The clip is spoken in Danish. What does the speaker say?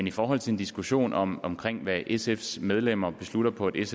i forhold til en diskussion om om hvad sfs medlemmer beslutter på et